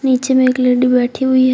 नीचे में एक लेडी बैठी हुई है।